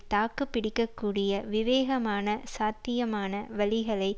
தாக்கு பிடிக்க கூடிய விவேகமான சாத்தியமான வழிகளில்